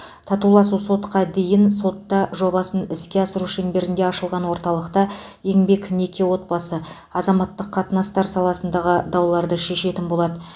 татуласу сотқа дейін сотта жобасын іске асыру шеңберінде ашылған орталықта еңбек неке отбасы азаматтық қатынастар саласындағы дауларды шешетін болады